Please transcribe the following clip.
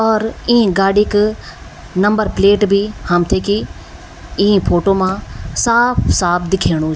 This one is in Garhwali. और ई गाड़ी क नंबर प्लेट भी हमथे की ई फोटो मा साफ़ साफ़ दिखेणु।